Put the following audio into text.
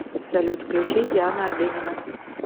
салют включи диана арбенина